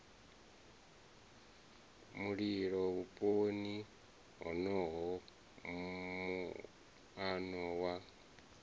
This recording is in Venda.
mulilo vhuponi honoho muano wa